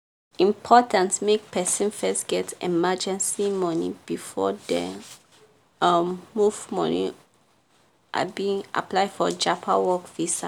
important make person first get emergency money before dem um move money um apply for japan work visa.